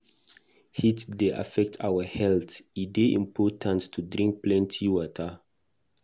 Heat dey affect our health; e dey important to drink plenty water.